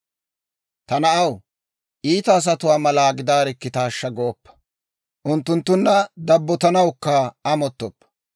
Ta na'aw, iita asatuwaa mala gidaarikkitaashsha gooppa; unttunttunna dabbotanawukka amottoppa;